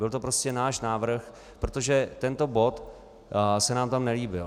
Byl to prostě náš návrh, protože tento bod se nám tam nelíbil.